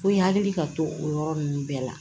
Ko i hakili ka to o yɔrɔ ninnu bɛɛ la